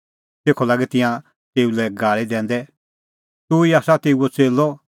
तेखअ लागै तिंयां तेऊ लै गाल़ी दैंदै तूह ई आसा तेऊओ च़ेल्लअ हाम्हैं आसा मुसा गूरे च़ेल्लै